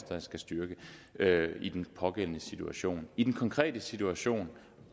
der skal styrkes i den pågældende situation i den konkrete situation